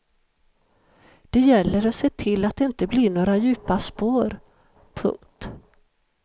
Det gäller att se till att det inte blir några djupa spår. punkt